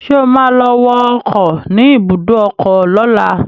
Ṣé o ma lọ wọ ọkọ̀ ni ibùdó ọkọ lọ́la?